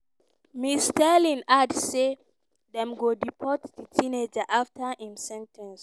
ms stirling add say dem go deport di teenager afta im sen ten ce.